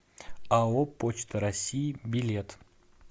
ао почта россии билет